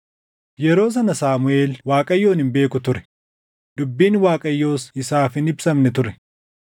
Yeroo sana Saamuʼeel Waaqayyoon hin beeku ture; dubbiin Waaqayyos isaaf hin ibsamne ture.